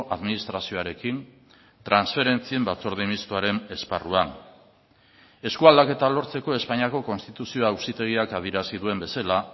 administrazioarekin transferentzien batzorde mistoaren esparruan eskualdaketa lortzeko espainiako konstituzio auzitegiak adierazi duen bezala